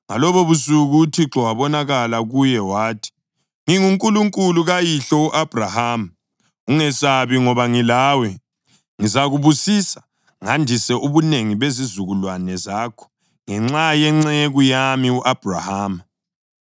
Ngalobobusuku uThixo wabonakala kuye wathi, “NginguNkulunkulu kayihlo u-Abhrahama. Ungesabi, ngoba ngilawe; ngizakubusisa ngandise ubunengi bezizukulwane zakho ngenxa yenceku yami u-Abhrahama.”